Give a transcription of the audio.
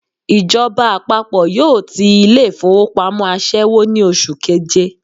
Ìjọba àpapọ̀ yóò ti ilé ìfowópamọ́ àṣẹ́wó ní oṣù keje